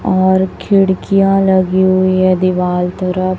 और खिड़कियां लगी हुई है दीवाल तरफ।